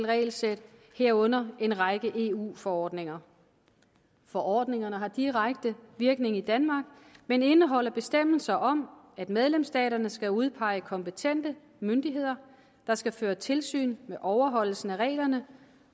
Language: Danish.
regelsæt herunder en række eu forordninger forordningerne har direkte virkning i danmark men indeholder bestemmelser om at medlemsstaterne skal udpege kompetente myndigheder der skal føre tilsyn med overholdelsen af reglerne